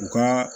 U ka